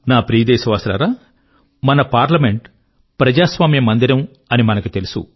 నా ప్రియదేశవాసులారా మన పార్లమెంట్ ప్రజాస్వామ్యమందిరం అని మనకు తెలుసు